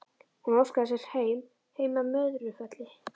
Hún óskaði sér heim, heim að Möðrufelli.